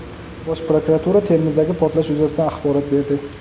Bosh prokuratura Termizdagi portlash yuzasidan axborot berdi.